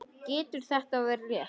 Getur þetta verið rétt?